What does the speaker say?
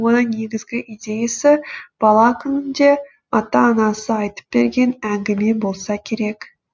оның негізгі идеясы бала күнінде ата анасы айтып берген әңгіме болса керек